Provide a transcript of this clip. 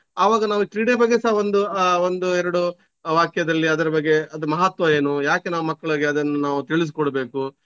ಆವಾಗ ನಾವು ಕ್ರೀಡೆ ಬಗ್ಗೆ ಸಹ ಒಂದು ಆಹ್ ಒಂದು ಎರಡು ವಾಕ್ಯದಲ್ಲಿ ಅದ್ರ ಬಗ್ಗೆ ಅದು ಮಹತ್ವ ಏನು ಯಾಕೆ ನಾವು ಮಕ್ಳಿಗೆ ಅದನ್ನು ನಾವು ತಿಳಿಸ್ಕೊಡ್ಬೇಕು.